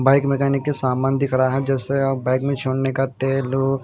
bike mechanic के समान दिख रहा है जैसे अ बाइक में छोड़ने का तेल हो--